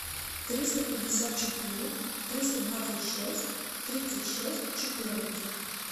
триста пятьдесят четыре триста двадцать шесть тридцать шесть четырнадцать